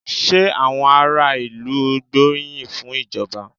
Ṣé àwọn ará ìlú gbóríyìn fún ìjọba?